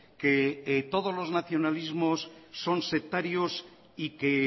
que todos los nacionalismos son sectarios y que